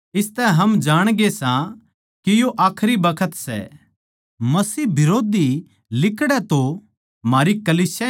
जो कोए बेट्टे नै मानण तै नाटै सै उसकै धोरै पिता परमेसवर भी कोनी जो बेट्टे नै मान ले सै उसकै धोरै पिता परमेसवर भी सै